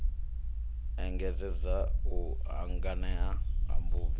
engedzedza u hanganea ha mubebi